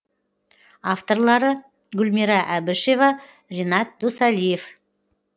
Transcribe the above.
авторлары гүлмира әбішева ренат досалиев